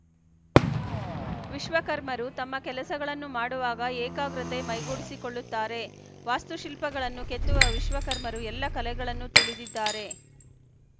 ವಿಶ್ವ ಕರ್ಮರು ತಮ್ಮ ಕೆಲಸಗಳನ್ನು ಮಾಡುವಾಗ ಏಕಾಗ್ರತೆ ಮೈಗೂಡಿಸಿಕೊಳ್ಳುತ್ತಾರೆ ವಾಸ್ತುಶಿಲ್ಪಗಳನ್ನು ಕೆತ್ತುವ ವಿಶ್ವಕರ್ಮರು ಎಲ್ಲ ಕಲೆಗಳನ್ನು ತಿಳಿದಿದ್ದಾರೆ